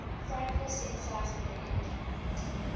franco sensi's period